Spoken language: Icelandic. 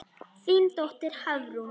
Þín dóttir, Hafrún.